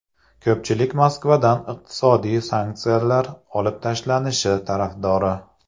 Ko‘pchilik Moskvadan iqtisodiy sanksiyalar olib tashlanishi tarafdori.